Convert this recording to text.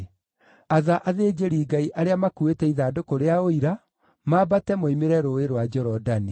“Atha athĩnjĩri-Ngai arĩa makuuĩte ithandũkũ rĩa Ũira mambate moimĩre Rũũĩ rwa Jorodani.”